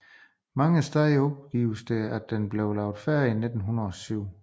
Mange steder opgives det at den blev lavet færdig i 1907